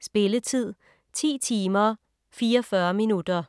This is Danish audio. Spilletid: 10 timer, 44 minutter.